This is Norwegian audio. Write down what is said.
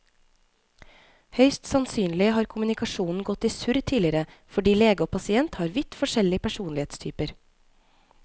Høyst sannsynlig har kommunikasjonen gått i surr tidligere fordi lege og pasient har vidt forskjellig personlighetstyper.